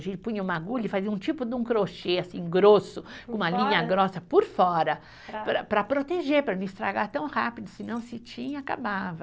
A gente punha uma agulha e fazia um tipo de um crochê, assim, grosso, com uma linha grossa por fora, para para proteger, para não estragar tão rápido, senão o cetim, acabava.